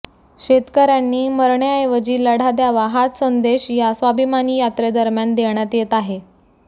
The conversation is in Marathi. शेतकऱ्यांनी मरण्याऐवजी लढा द्यावा हाच संदेश या स्वाभिमानी यात्रेदरम्यान देण्यात येत आहे